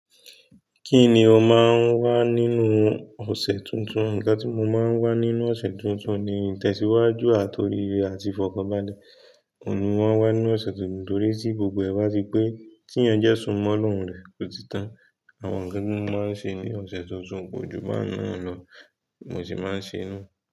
Kí ni o máa ń wá nínú ọ̀sẹ̀ tuntun? Ǹkan tí mo máa ń wá nínú ọ̀sẹ̀ tuntun ni ìtẹ̀síwájú àti oríire àti ìfọ̀kànbalẹ̀. Kò ní wọ́n wá nínú ọ̀sẹ̀ tuntun torí tí gbogbo ẹ̀ wá tipé tí ẹyẹń jẹ́ sunmọ́ ọlọ́run rẹ̀ ótítán. Àwọn nnkan tí mo máa ń ṣe ní ọ̀sẹ̀ tuntun kò ju bẹ́ẹ̀ náà lọ, mo sì máa ń ṣe inú.